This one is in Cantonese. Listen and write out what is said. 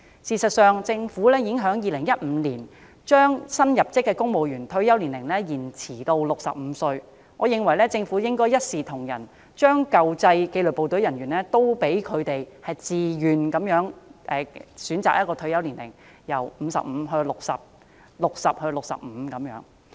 事實上，政府在2015年已將新入職的公務員的退休年齡延遲至65歲，我認為政府應該一視同仁，考慮讓舊制紀律部隊人員自願選擇退休年齡 ，55 歲可延遲至60歲 ，60 歲可延遲至65歲。